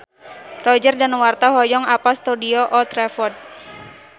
Roger Danuarta hoyong apal Stadion Old Trafford